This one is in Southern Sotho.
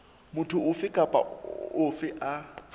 motho ofe kapa ofe a